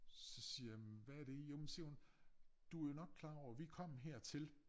Så siger jeg men hvad det i jamen så siger hun du jo nok klar over vi kom hertil